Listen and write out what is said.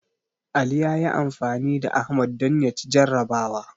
Ali ya yi anfani da Ahmad don ya ci jarrabawa.